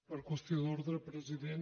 per qüestió d’ordre president